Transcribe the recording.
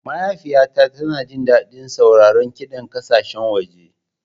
Mahaifiyata tana jin daɗin sauraron kiɗan ƙasashen waje.